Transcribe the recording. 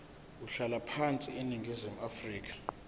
umhlalaphansi eningizimu afrika